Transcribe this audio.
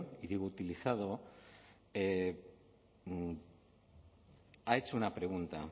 y digo utilizado ha hecho una pregunta